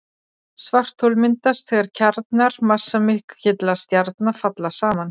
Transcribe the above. Svarthol myndast þegar kjarnar massamikilla stjarna falla saman.